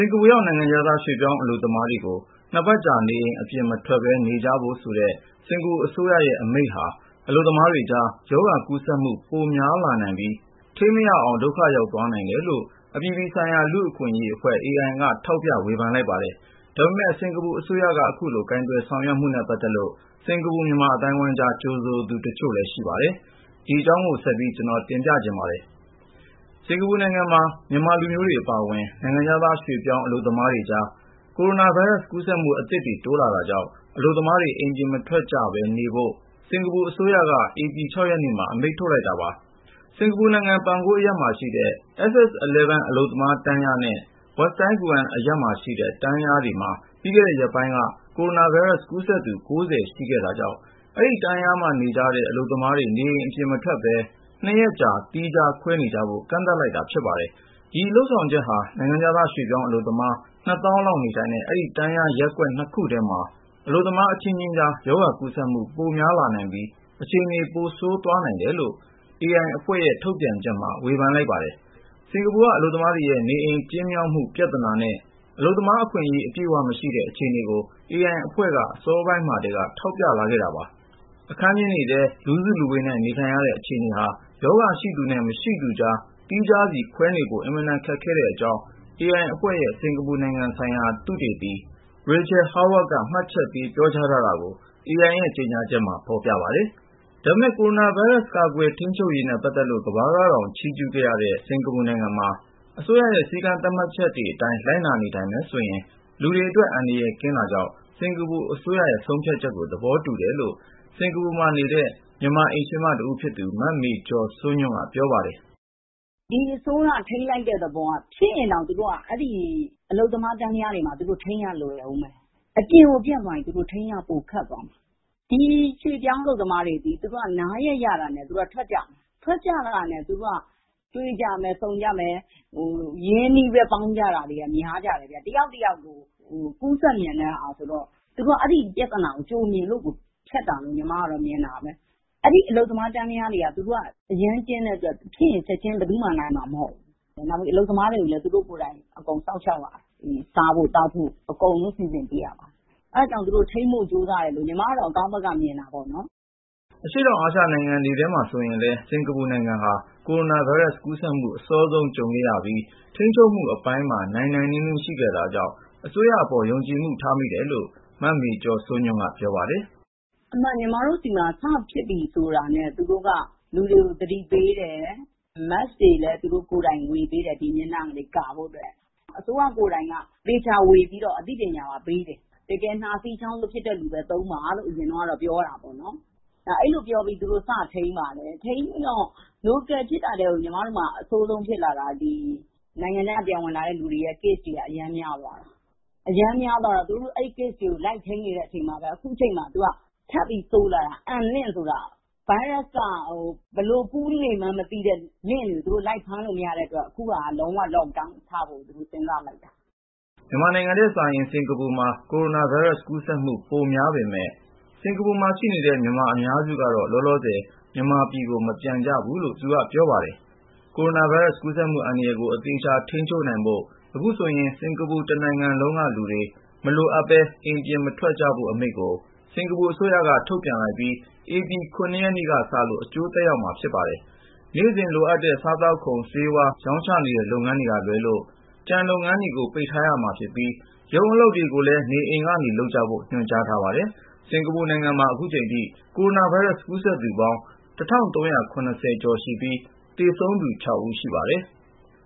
င်္ကာပူရောက် နိုင်ငံခြားသား ရွှေ့ပြောင်းအလုပ်သမားတွေကို ၂ ပတ်ကြာ နေအိမ်အပြင်မထွက်ပဲနေကြဖို့ဆိုတဲ့ စင်္ကာပူအစိုးရရဲ့ အမိန့်ဟာ အလုပ်သမားတွေကြား ရောဂါကူးစက်မှု ပိုများလာနိုင်ပြီး ထိန်းမရအောင် ဒုက္ခရောက်သွားနိုင်တယ်လို့ အပြည်ပြည်ဆိုင်ရာ လူ့အခွင့်ရေးအဖွဲ့ Amnesty International AI က ထောက်ပြ ဝေဖန်လိုက်ပါတယ်။ ဒါပေမဲ့ စင်္ကာပူအစိုးရက အခုလို ကိုင်တွယ်ဆောင်ရွက်မှုနဲ့ ပတ်သက်လို့ စင်္ကာပူမြန်မာ အသိုင်းအဝိုင်းကြား ကြိုဆိုသူ တချို့လည်း ရှိပါတယ်။ ဒီအကြောင်းကို ဆက်ပြီး ကိုဉာဏ်ဝင်းအောင်တင်ပြထားပါတယ်။ စင်္ကာပူနိုင်ငံမှာ မြန်မာလူမျိုးတွေအပါအဝင် နိုင်ငံခြားသား ရွှေ့ပြောင်း အလုပ်သမားတွေကြား ကိုရိုနာဗိုင်းရပ်စ် ကူးစက်မှုအသစ်တွေ တိုးလာတာကြောင့် အလုပ်သမားတွေ အိမ်အပြင်မထွက်ပဲ နေကြဖို့ စင်္ကာပူအစိုးရက ဧပြီ(၆)ရက်နေ့မှာ အမိန့်ထုတ်လိုက်တာပါ။ စင်္ကာပူနိုင်ငံ Punggol အရပ်မှာရှိတဲ့ SS11 အလုပ်သမားတန်းလျားနဲ့ Westlite Toh Guan အရပ်မှာရှိတဲ့ တန်းလျားတွေမှာ ပြီးခဲ့တဲ့ရက်ပိုင်းက ကိုရိုနာဗိုင်းရပ်စ် ကူးစက်သူ(၉၀) ရှိခဲ့တာကြောင့် အဲဒီ တန်းလျားမှာနေကြတဲ့ အလုပ်သမား တွေ နေအိမ်အပြင်မထွက်ပဲ ၂ ပတ်ကြာ Quarantine သီးသန့်ခွဲနေကြဖို့ ကန့်သတ်လိုက်တာ ဖြစ်ပါတယ်။ ဒီလုပ်ဆောင်ချက်ဟာ နိုင်ငံခြားသား ရွှေ့ပြောင်းအလုပ်သမား ၂ သောင်းလောက် နေထိုင်တဲ့ အဲဒီတန်းလျား ရပ်ကွက် နှစ်ခုထဲမှာ အလုပ်သမား အချင်းချင်းကြား ရောဂါ ကူးစက်မှု ပိုများလာနိုင်ပြီး အခြေအနေ ပိုဆိုးသွားနိုင်တယ်လို့ အပြည်ပြည်ဆိုင်ရာ လူ့အခွင့်ရေးအဖွဲ့ AI က ထုတ်ပြန်တဲ့ ကြေညာချက်မှာ ဝေဖန်လိုက်ပါတယ်။ စင်္ကာပူက အလုပ်သမားတွေရဲ့ နေအိမ်ကျဉ်းမြောင်းမှု ပြဿနာနဲ့ အလုပ်သမားအခွင့် အရေး အပြည့်အဝ မရှိတဲ့ အခြေအနေကို AI အဖွဲ့က အစောပိုင်းထဲက ထောက်ပြလာခဲ့တာပါ ။ အခန်းကျဉ်းတွေထဲ လူစုလူဝေးနဲ့ နေထိုင်ရတဲ့ အခြေအနေဟာ ရောဂါရှိသူနဲ့ မရှိသူကြား သီးခြားစီ ခွဲနေဖို့ အင်မတန်ခက်ခဲတဲ့ အကြောင်း AI အဖွဲ့ရဲ့ စင်္ကာပူနိုင်ငံ ဆိုင်ရာ သုတေသီ A Rachel Chhoa-Howard က မှတ်ချက်ပေးပြောထားတာကို AI ရဲ့ကြေညာချက်မှာ ဖေါ်ပြပါတယ်။ ဒါပေမဲ့ ကိုရိုနာဗိုင်းရပ်စ် ကာကွယ် ထိန်းချုပ်ရေးနဲ့ ပတ်သက်လို့ ကမ္ဘာကတောင် ချီးကျူးခဲ့ရတဲ့ စင်္ကာပူနိုင်ငံမှာ အစိုးရရဲ့ စည်းကမ်းသတ်မှတ်ချက်တွေအတိုင်း လိုက်နာနေထိုင်မယ်ဆိုရင် လူတွေအတွက် အန္တရာယ်ကင်းတာကြောင့် စင်္ကာပူ အစိုးရရဲ့ ဆုံးဖြတ်ချက်ကို သဘောတူတယ်လို့ စင်္ကာပူမှာ နေတဲ့ မြန်မာအိမ်ရှင်မတဦးဖြစ်သူ မ မေကျော်စိုးညွန့်က ပြောပါတယ်။ “ ဒီအစိုးရက ထိန်းလိုက်တဲ့သဘောက ဖြစ်ရင်တောင် အလုပ်သမား တန်းလျားတွေမှာ သူတို့ ထိန်းရလွယ်ဦးမယ်။ အပြင်ကို ပြန့်သွားရင် သူတို့ ထိန်းရ ပိုခက်သွားလိမ့်မယ်။ ဒီရွှေ့ပြောင်းအလုပ်သမားတွေသည် သူတို့ နားရက်ရတာနဲ့ ထွက်ကြမယ် ။ ထွက်ကြတာနဲ့ သူတို့က တွေ့ကြမယ်၊ ဆုံကြမယ်၊ ရင်းရင်းနှီးနှီး ပေါင်းတာတွေက များကြတယ်။ တယောက်နဲ့ တယောက် ကူးစက်မြန်တဲ့ဟာဆိုတော့ သူတို့က အဲဒီ ပြဿနာကို ကြိုမြင်လို့ လုပ်တာလို့ ညီမကတော့ မြင်တယ်။ အဲဒီအလုပ်သမား တန်းလျား တွေက အရမ်းကျဉ်းတဲ့အတွက် ဖြစ်လာရင် ချက်ချင်း ဘယ်သူမှ နိုင်မှာ မဟုတ်ဘူး။ နောက်ပြီး အလုပ်သမားတွေကိုလည်း သူတို့ ကိုယ်တိုင် အကုန်စောင့်ရှောက်ရတာ ။ အကုန်လုံး စားဖို့ ၊ သောက်ဖို့ အကုန်လုံး စီစဉ်ပေးရတာ။ အဲဒါကြောင့် သူတို့ ထိန်းဖို့ကြိုးစားတယ်လို့ ညီမကတော့ အကောင်းဘက်က မြင်တာပေါ့နော်။” အရှေ့တောင်အာရှနိုင်ငံတွေထဲမှာ ဆိုရင်လည်း စင်္ကာပူနိုင်ငံ ဟာ ကိုရိုနာ ဗိုင်းရပ်စ် ကူးစက်မှု အစောဆုံး ကြုံခဲ့ရပြီး ထိန်းချုပ်မှု အပိုင်းမှာ နိုင်နိုင်နင်းနင်း ရှိခဲ့တာကြောင့် အစိုးရအပေါ် ယုံကြည်မှု ထားမိတယ်လို့ မ မေကျော်စိုးညွန့်က ပြောပါတယ်။ “ညီမတို့ဆီမှာ စဖြစ်ပြီဆိုတာနဲ့ သူတို့က လူတွေကို သတိပေးတယ်။ Mask တွေလည်း သူတို့ကိုယ်တိုင် ဝေပေးတယ် ၊ မျက်နှာတွေ ကာဖို့အတွက်။ အစိုးရ ကိုယ်တိုင်က သေချာဝေပြီးတော့ အသိပညာပါ ပေးတယ်။ တကယ် နှာစေး ၊ ချောင်းဆိုးဖြစ်တဲ့ လူပဲ သုံးပါလို့တော့ အရင်က ပြောတာပေါ့နော်။ အဲလိုပြောပြီး သူတို့ စထိန်းပါတယ်။ ထိန်းပြီးတော့ Local မှာဖြစ်တာထက်ကို ညီမတို့ဆီမှာ အဆိုးဆုံးဖြစ်လာတာက ဒီ နိုင်ငံခြားက ပြန်ဝင်လာတဲ့လူတွေရဲ့ case တွေက အရမ်းများသွားတယ်။ အရမ်းများသွားတော့ သူတို့ အဲဒီ case တွေကို လိုက်ထိန်းနေတဲ့ အချိန်မှာပဲ ၊ အခုအချိန်မှာ ထပ်ပြီး ဆိုးလာတာက Unlink ဆိုတာ virus က ဘယ်လို ကူးနေမှန်းမသိတဲ့ ကွင်းဆက်-လင့်ခ်တွေကို အစိုးရက လိုက်ဖမ်းလို့ မရတဲ့အတွက် အခုက လုံး၀ Lock Down ချဖို့ စဉ်းစားလိုက်တာ။” မြန်မာနိုင်ငံထက်စာရင် စင်္ကာပူမှာ ကိုရိုနာဗိုင်းရပ်စ် ကူးစက်မှု ပိုများပေမဲ့ စင်္ကာပူမှာနေတဲ့ မြန်မာ အများစုကတော့ လောလောဆယ် မြန်မာပြည်ကို မပြန်ကြဘူးလို့ သူကပြောပါတယ်။ ကိုရိုနာဗိုင်းရပ်စ် ကူးစက်မှုအန္တရယ်ကို အသေချာ ထိန်းချုပ်နိုင်ဖို့ အခုဆိုရင် စင်္ကာပူတနိုင်ငံလုံးကလူတွေ မလိုအပ်ပဲ အိမ်ပြင်မထွက်ကြဖို့ Lockdown အမိန့်ကို စင်္ကာပူအစိုးရက ထုတ်ပြန်လိုက်ပြီး ဧပြီ(၇)နေ့က စလို့ အကျိုးသက်ရောက်မှာဖြစ်ပါတယ်။ နေ့စဉ်လိုအပ်တဲ့ စားသောက်ကုန် ဆေးဝါး ရောင်းချနေတဲ့ လုပ်ငန်းတွေက လွဲလို့ ကျန်လုပ်ငန်းတွေ ပိတ်ထားရမှာ ဖြစ်ပြီး၊ ရုံးအလုပ်တွေကိုလည်း နေအိမ်တွေကနေ လုပ်ကြဖို့ ညွှန်ကြားထားပါတယ်။ စင်္ကာပူနိုင်ငံမှာ ခုချိန်ထို ကိုရိုနားဗိုင်းရပ်စ် ကူးစက်သူပေါင်း (၁၃၇၀) ကျော်ရှိပြီး သူဆုံးသူ (၆)ဦးရှိပါတယ်။